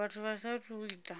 vhathu vha saathu u ita